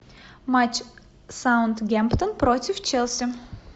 матч саутгемптон против челси